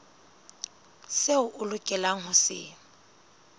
seo o lokelang ho se